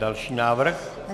Další návrh.